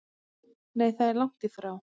Nei það er lagt í frá